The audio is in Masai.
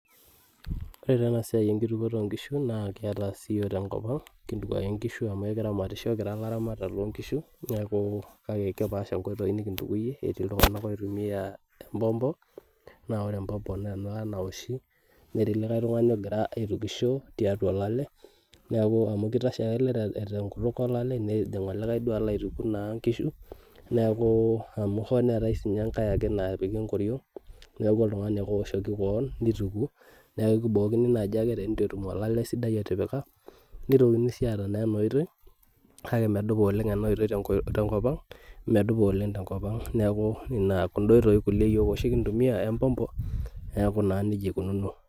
Ore taa enasiai enkitukuoto onkishu, na kiata siyiok tenkop ang, kintuk ake nkishu amu kiramatisho kira laramatak lonkishu, neeku kake kepaasha nkoitoi nikintukuyie, etii iltung'anak oitumia empompo, na ore empompo nena nawoshi, netii likae tung'ani ogira aitukisho tiatua olale, neeku amu kitashe ake ele tenkutuk olale, nejing olikae alo aituku naa nkishu, neeku amu ho neetae sinye enkae ake napiki enkoriong',neeku oltung'ani ake owoshoki keon nintuku, neeku kibookini naji ake tenitu etum olale sidai otipika, nitokini si aata naa enoitoi, kake medupa oleng enoitoi tenkop ang, medupa oleng tenkop ang. Neeku ina kunda oitoi kulie yiok oshi kintumia empompo, neeku naa nejia ikununo.